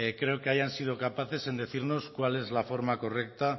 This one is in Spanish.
creo que hayan sido capaces en decirnos cuál es la forma correcta